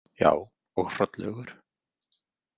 Já, og Hrollaugur.